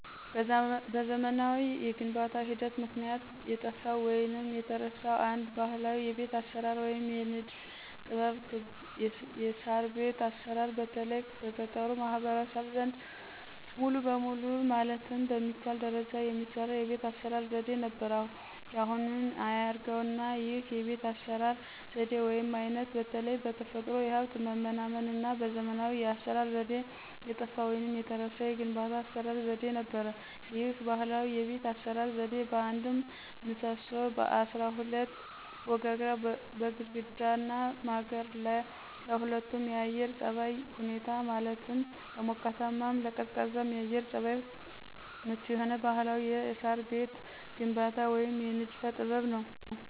በዘመናዊ የግንባታ ሂደት ምክንያት የጠፋው ወይንም የተረሳው አንድ ባህላዊ የቤት አሰራር ወይም የንድፍ ጥበብ ክብ የሳርቤት አሰራር በተለይ በገጠሩ ማህበረሰብ ዘንድ ሙሉ በሙሉ ማለት በሚቻል ደረጃ የሚሰራ የቤት አስራ ዘዴ ነበር ያሁኑን አያርገውና ይህ የቤት አሰራር ዘዴ ወይም አይነት በተለይ በተፈጥሮ ሀብት መመናመንና በዘመናዊ የአሰራር ዘዴ የጠፋ ወይንም የተረሳ የግንባታ የአሰራር ዘዴ ነበር። ይህ ባህላዊ የቤት አሰራር ዘዴ በአንድ ምሰሶ፣ በአስራ ሁለት ወጋግራ፣ በግድግዳና ማገር ለሁለቱም የአየር ፀባይ ሁኔታዎች ማለትም ለሞቃታማም ለቀዝቃዛም የአየር ፀባይ ምቹ የሆነ ባህላዊ የሳር ቤት ግንባታ ወይም የንድፈ ጥበብ ነው።